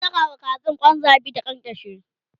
zan Saka wa Kazan Kwan zabi ta kyankyashe